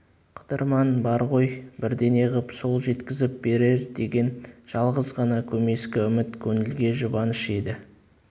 қыдырман бар ғой бірдеңе ғып сол жеткізіп берер деген жалғыз ғана көмескі үміт көңілге жұбаныш еді